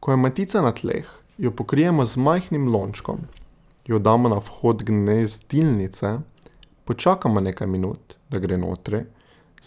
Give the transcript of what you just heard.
Ko je matica na tleh, jo pokrijemo z majhnim lončkom, jo damo na vhod gnezdilnice, počakamo nekaj minut, da gre notri,